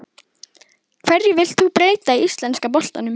Hverju vilt þú breyta í íslenska boltanum?